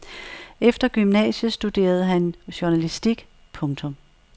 Efter gymnasiet studerede han journalistik. punktum